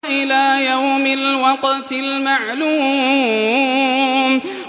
إِلَىٰ يَوْمِ الْوَقْتِ الْمَعْلُومِ